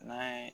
N'a ye